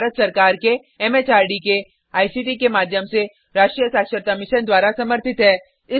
यह भारत सरकार के एम एच आर डी के आई सी टी के माध्यम से राष्ट्रीय साक्षरता मिशन द्वारा समर्थित है